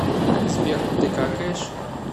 сбер ты какаешь